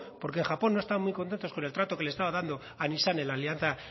porque japón no estaban muy contentos con el trato que le estaba dando a nissan en la alianza